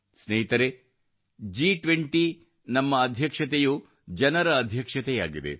ಸ್ನೇಹಿತರೇ G20 ರ ನಮ್ಮ ಅಧ್ಯಕ್ಷತೆಯು ಜನರ ಅಧ್ಯಕ್ಷತೆಯಾಗಿದೆ